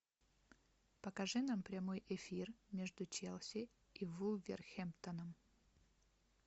покажи нам прямой эфир между челси и вулверхэмптоном